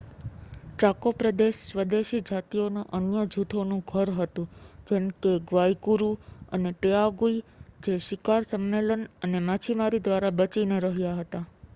Chaco પ્રદેશ સ્વદેશી જાતિઓના અન્ય જૂથોનું ઘર હતું જેમ કે ગ્વાઇકુરૂ અને પેઆગુઇ જે શિકાર સંમેલન અને માછીમારી દ્વારા બચીને રહ્યા હતા